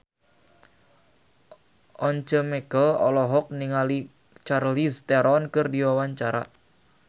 Once Mekel olohok ningali Charlize Theron keur diwawancara